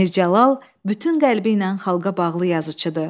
Mir Cəlal bütün qəlbi ilə xalqa bağlı yazıçıdır.